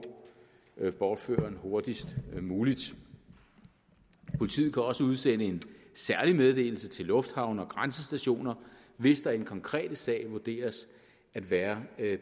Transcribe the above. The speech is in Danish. bortføreren hurtigst muligt politiet kan også udsende en særlig meddelelse til lufthavne og grænsestationer hvis der i den konkrete sag vurderes at være